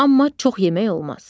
Amma çox yemək olmaz.